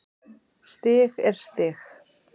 Stig er stig.